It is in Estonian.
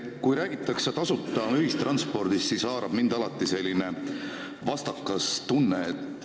Kui räägitakse tasuta ühistranspordist, siis haarab mind alati selline vastakas tunne.